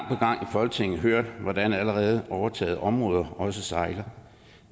folketinget hørt hvordan allerede overtagede områder også sejler